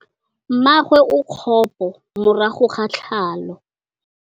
Mmagwe o kgapô morago ga tlhalô.